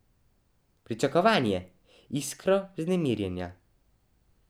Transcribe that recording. Pričakovanje, iskro vznemirjenja.